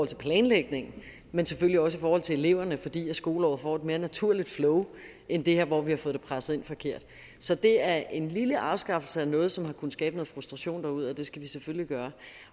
til planlægningen men selvfølgelig også i forhold til eleverne fordi skoleåret får et mere naturligt flow end det her hvor vi har fået presset det ind forkert så det er en lille afskaffelse af noget som har kunnet skabe en frustration derude det skal vi selvfølgelig gøre